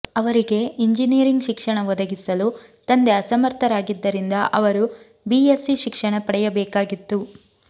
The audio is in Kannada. ಅವರಿಗೆ ಇಂಜಿನಿಯರಿಂಗ್ ಶಿಕ್ಷಣ ಒದಗಿಸಲು ತಂದೆ ಅಸಮರ್ಥರಾಗಿದ್ದರಿಂದ ಅವರು ಬಿಎಸ್ಸಿ ಶಿಕ್ಷಣ ಪಡೆಯಬೇಕಾಗಿತ್ತು